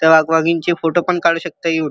त्या वाघ वाघीणचे फोटो पण काढु शकता येऊन.